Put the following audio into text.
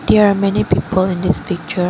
there are many people in this picture